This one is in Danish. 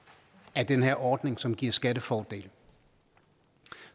af den her ordning som giver skattefordele